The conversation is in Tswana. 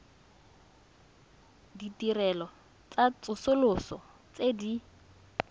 ditirelo tsa tsosoloso tse di